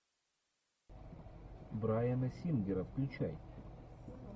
брайана сингера включай